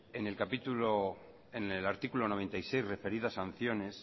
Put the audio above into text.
en en el artículo noventa y seis referido a sanciones